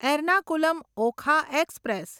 Ernakulam Okha express